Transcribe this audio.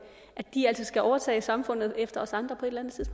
de altså skal overtage samfundet efter os andre